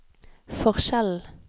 forskjellen